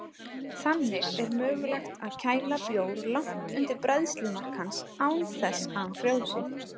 Þannig er mögulegt að kæla bjór langt undir bræðslumark hans án þess að hann frjósi.